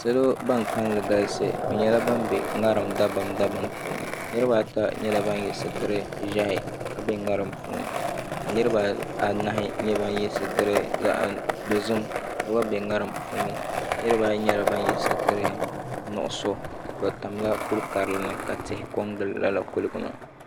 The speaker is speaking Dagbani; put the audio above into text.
Salo ban kalinli galisi bɛ nyɛla ban be ŋariŋ dabam dabam puuni niriba ata nyɛla ban yɛ sitiri ʒɛhi ka be ŋariŋ puuni niriba anahi nyɛ ban yɛ sitiri dozim ka gba be ŋariŋ puuni niriba ayi nyɛla ban yɛ sitiri nuɣuso bɛ tamla kuli karili ni ka tihi kɔŋ gili lala kuliga maa.